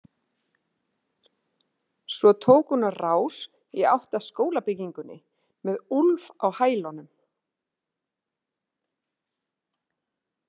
Svo tók hún á rás í átt að skólabyggingunni með Úlf á hælunum.